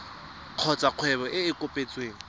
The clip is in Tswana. kgotsa kgwebo e e kopetsweng